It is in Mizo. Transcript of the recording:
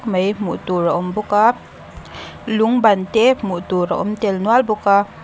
mai hmuh tur a awm bawk a lung ban te hmuh tur a awm nual bawk a.